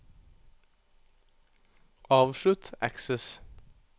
avslutt Access